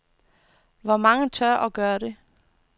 Hvor mange tør og gør det?